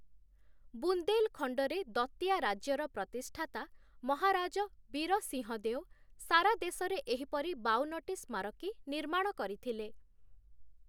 ବୁନ୍ଦେଲଖଣ୍ଡରେ ଦତିଆ ରାଜ୍ୟର ପ୍ରତିଷ୍ଠାତା ମହାରାଜ 'ବୀର ସିଂହ ଦେଓ', ସାରା ଦେଶରେ ଏହିପରି ବାଉନଟି ସ୍ମାରକୀ ନିର୍ମାଣ କରିଥିଲେ ।